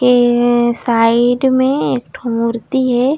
ये साइड में एक ठो मूर्ति हे।